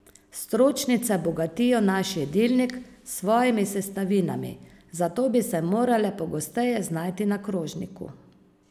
Stročnice bogatijo naš jedilnik s svojimi sestavinami, zato bi se morale pogosteje znajti na krožniku.